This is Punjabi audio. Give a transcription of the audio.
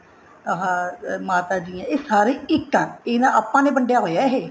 ਆਹ ਮਾਤਾ ਜੀ ਨੇ ਇਹ ਸਾਰੇ ਇੱਕ ਏ ਆਪਾਂ ਨੇ ਵੰਡਿਆ ਹੋਇਆ ਇਹ